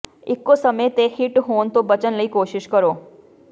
ਇੱਕੋ ਸਮੇਂ ਤੇ ਹਿੱਟ ਹੋਣ ਤੋਂ ਬਚਣ ਲਈ ਕੋਸ਼ਿਸ਼ ਕਰੋ